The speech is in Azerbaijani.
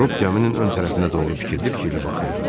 Den özünün ön tərəfinə doğru fikirli-fikirli baxırdı.